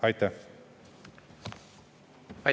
Aitäh!